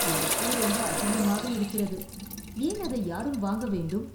இந்தப் பூ ரொம்ப அசிங்கமாக இருக்கிறது. ஏன் அதை யாரும் வாங்க வேண்டும்?